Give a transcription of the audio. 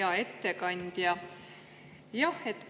Hea ettekandja!